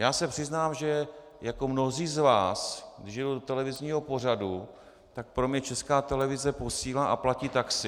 Já se přiznám, že jako mnozí z vás, když jedu do televizního pořadu, tak pro mě Česká televize posílá a platí taxi.